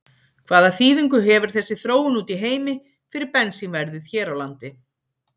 Hvaða þýðingu hefur þessi þróun úti í heimi fyrir bensínverðið hér á landi?